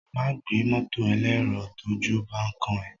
Má gbé mọ́tọ̀ elérò tójú bán kán ẹ.